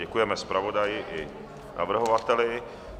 Děkujeme zpravodaji i navrhovateli.